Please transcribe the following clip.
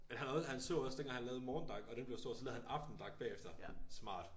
Han havde han så også dengang han lavede morgendak og den blev stor så lavede han aftendak bagefter. Smart